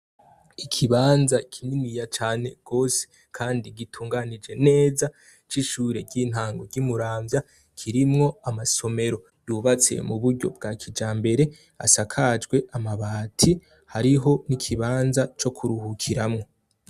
Ikibanza kininiya cane gose kandi gitunganije neza c'ishure ry'intango ry'i Muramvya, kirimwo amasomero yubatse mu buryo bwa kijambere, asakajwe amabati, hariho n'ikibanza co kuruhukiramwo.